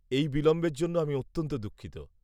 -এই বিলম্বের জন্য আমি অত্যন্ত দুঃখিত।